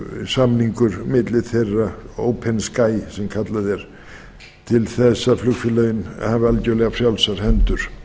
samningur milli þeirra open sky sem kallað er til þess að flugfélögin hafi algjörlega frjálsar hendur